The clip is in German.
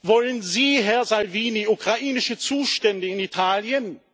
Wollen Sie, Herr Salvini, ukrainische Zustände in Italien?